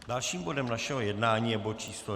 Dalším bodem našeho jednání je bod číslo